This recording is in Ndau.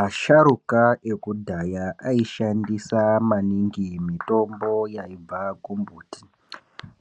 Asharuka ekudhaya aishandisa maningi mitombo yaibva pambuti,